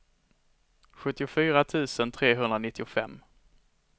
sjuttiofyra tusen trehundranittiofem